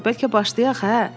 Bəlkə başlayaq, hə?